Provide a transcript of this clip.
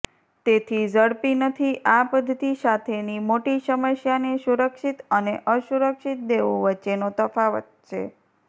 તેથી ઝડપી નથી આ પદ્ધતિ સાથેની મોટી સમસ્યાને સુરક્ષિત અને અસુરક્ષિત દેવું વચ્ચેનો તફાવત છે